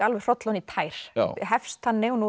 hroll ofan í tær hefst þannig nú